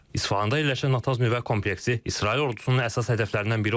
İsfahanda yerləşən Natanz nüvə kompleksi İsrail ordusunun əsas hədəflərindən biri olub.